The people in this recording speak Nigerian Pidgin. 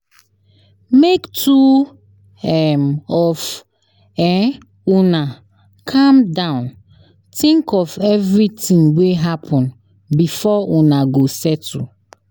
Make two um of um calm down tink of everytin wey happen before una go settle.